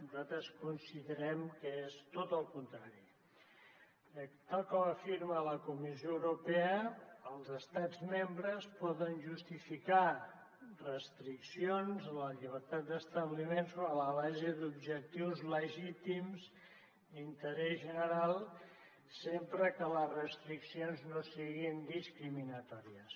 nosaltres considerem que és tot el contrari perquè tal com afirma la comissió europea els estats membres poden justificar restriccions a la llibertat d’establiment sobre la base d’objectius legítims d’interès general sempre que les restriccions no siguin discriminatòries